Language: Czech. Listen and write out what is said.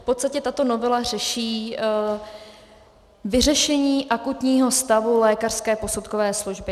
V podstatě tato novela řeší vyřešení akutního stavu lékařské posudkové služby.